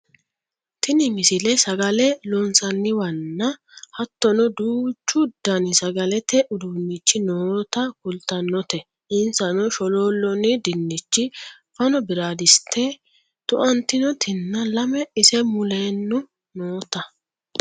tini misile sagale loonsanniwanna hattono duuchu dani sagalete uduunnichi noota kultannote insano sholoolloonni dinnichi fano biradiste tu"antinotinna lame ise muleno noota